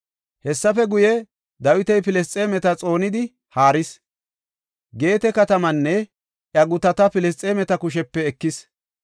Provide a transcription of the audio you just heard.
Hessafe guye, Dawiti Filisxeemeta xoonidi haaris; Geete katamaanne iya gutata Filisxeemeta kushepe ekis.